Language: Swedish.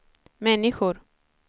människor